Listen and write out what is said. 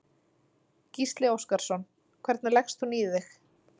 Gísli Óskarsson: Hvernig leggst hún í þig?